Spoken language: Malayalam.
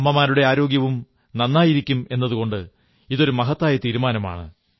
അമ്മമാരുടെ ആരോഗ്യവും നന്നായിരിക്കും എന്നതുകൊണ്ട് ഇതൊരു മഹത്തായ തീരുമാനമാണ്